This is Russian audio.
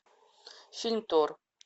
фильм тор